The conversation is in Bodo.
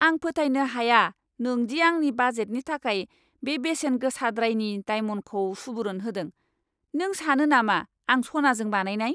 आं फोथायनो हाया नों दि आंनि बाजेटनि थाखाय बे बेसेन गोसाद्रायनि डायमन्डखौ सुबुरुन होदों। नों सानो नामा आं सनाजों बानायनाय!